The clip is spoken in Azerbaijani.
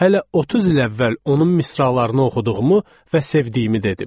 Hələ 30 il əvvəl onun misralarını oxuduğumu və sevdiyimi dedim.